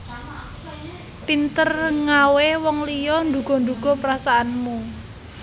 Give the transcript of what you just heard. Pinter ngawé wong liya nduga nduga perasaanmu